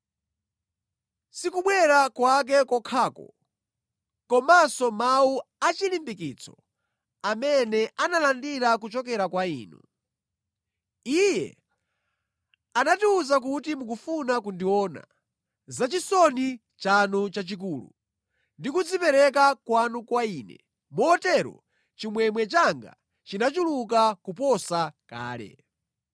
sikubwera kwake kokhako, komanso mawu achilimbikitso amene analandira kuchokera kwa inu. Iye anatiwuza kuti mukufuna kundiona, zachisoni chanu chachikulu, ndi kudzipereka kwanu kwa ine, motero chimwemwe changa chinachuluka kuposa kale.